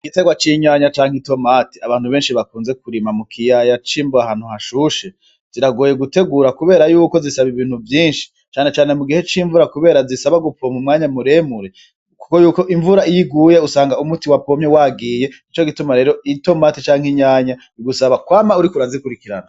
Igitegwa c'inyanya canke itomate abantu benshi bakunze kurima mukiyaya c'imbo ahantu hashushe ziragoye gutegura kubera yuko zisaba ibintu vyinshi cane cane mugihe cimvura kubera zisaba gupompa umwanya muremure kuko iyo imvura iyo iguye usanga umuti wapomye wagiye nico gituma rero itomati canne inyanya bigusaba kwama uriko urazikurikirana